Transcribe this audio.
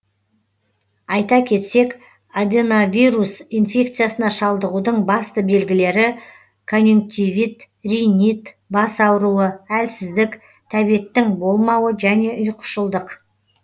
айта кетсек аденовирус инфекциясына шалдығудың басты белгілері конъюнктивит ринит бас ауруы әлсіздік тәбеттің болмауы және ұйқышылдық